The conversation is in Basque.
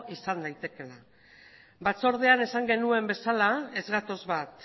izan daitekeela batzordean esan genuen bezala ez gatoz bat